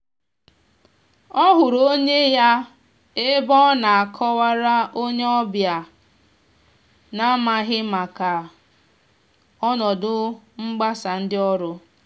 ọ hụrụ onye ya ebe ọ na akọ wara onye ọbịa na n'amaghi maka ọnọdụ mgbasa ndị ọrụ.